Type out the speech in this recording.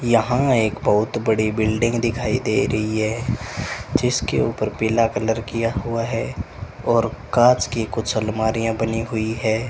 यहां एक बहुत बड़ी बिल्डिंग दिखाई दे रही है जिसके ऊपर पीला कलर किया हुआ है और कांच की कुछ अलमारियां बनी हुई हैं।